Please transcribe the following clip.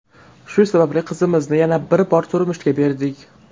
Shu sababli qizimizni yana bir bor turmushga berdik.